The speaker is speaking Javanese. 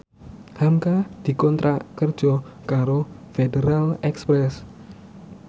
hamka dikontrak kerja karo Federal Express